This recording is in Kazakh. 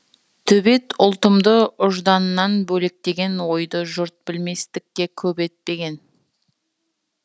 төбет ұлтымды ұжданынан бөлектеген ойды жұрт білместікке көп ептеген